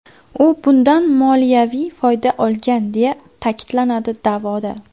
U bundan moliyaviy foyda olgan deya ta’kidlanadi da’voda.